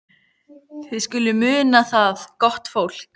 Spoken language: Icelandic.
Þið skuluð muna það, gott fólk,